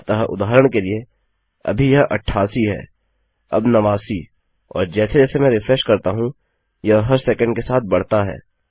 अतः उदाहरण के लिए अभी यह 88 है अब 89 और जैसे जैसे मैं रिफ्रेश करता हूँ यह हर सेकण्ड के साथ बढ़ता है